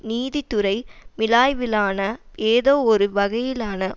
நீதித்துறை மீளாய்விலான ஏதோ ஒரு வகையிலான